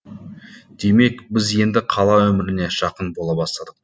демек біз енді қала өміріне жақын бола бастадық